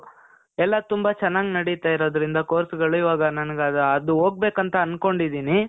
ಎಲ್ಲ ತುಂಬ ಚನಾಗ್ ನಡೀತಾ ಇರೋದ್ರಿಂದ course ಗಳು ಇವಾಗ ನನಿಗ್ ಅದು ಹೋಗ್ಬೇಕಂತ ಅಂದ್ಕೊಂಡಿದೀನಿ.